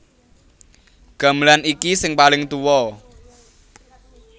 Gamelan iki sing paling tuwa